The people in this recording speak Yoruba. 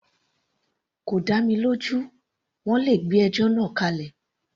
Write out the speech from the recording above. Kò dá mi lójú, wọ́n le gbé ẹjọ́ náà kálẹ̀.